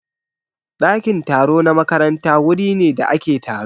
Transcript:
Ɗakin taro na makaranta wuri ne da ake taro.